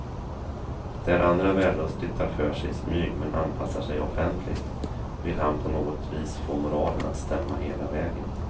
Där andra vällustigt tar för sig i smyg men anpassar sig offentligt, vill han på något vis få moralen att stämma hela vägen.